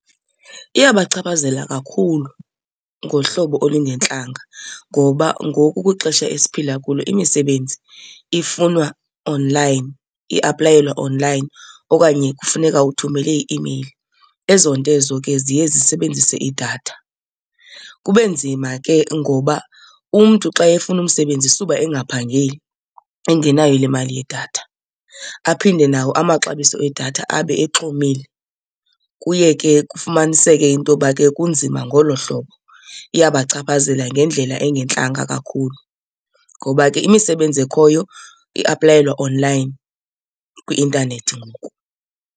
Iyabachaphazela kakhulu ngohlobo olungentlanga ngoba ngoku kwixesha esiphila kulo imisebenzi ifunwa online, iaplayelwa online okanye kufuneka uthumele i-email. Ezo nto ezo ke ziye zisebenzise idatha. Kube nzima ke ngoba umntu xa efuna umsebenzi suba engaphangeli engenayo le mali yedatha, aphinde nawo amaxabiso edatha abe exhomile. Kuye ke kufumaniseke into yoba ke kunzima ngolo hlobo. Iyabachaphazela ngendlela engantlanga kakhulu ngoba ke imisebenzi ekhoyo iaplayelwa online kwi-intanethi ngoku.